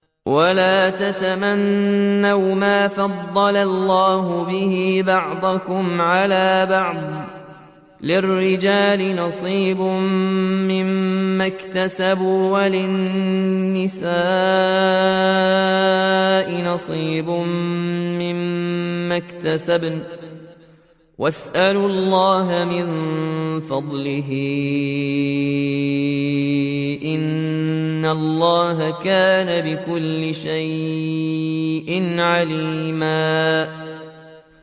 وَلَا تَتَمَنَّوْا مَا فَضَّلَ اللَّهُ بِهِ بَعْضَكُمْ عَلَىٰ بَعْضٍ ۚ لِّلرِّجَالِ نَصِيبٌ مِّمَّا اكْتَسَبُوا ۖ وَلِلنِّسَاءِ نَصِيبٌ مِّمَّا اكْتَسَبْنَ ۚ وَاسْأَلُوا اللَّهَ مِن فَضْلِهِ ۗ إِنَّ اللَّهَ كَانَ بِكُلِّ شَيْءٍ عَلِيمًا